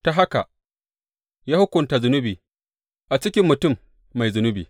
Ta haka, ya hukunta zunubi a cikin mutum mai zunubi.